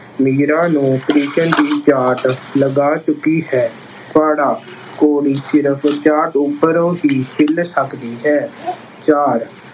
ਮੀਰਾ ਨੂੰ ਕ੍ਰਿਸ਼ਨ ਦੀ ਚਾਟ ਲਗਾ ਚੁੱਕੀ ਹੈ। ਪਾੜ੍ਹਾ- ਘੋੜੀ ਸਿਰਫ ਚਾਟ ਉੱਪਰੋ ਹੀ ਹਿੱਲ ਸਕਦੀ ਹੈ। ਚਾਰ-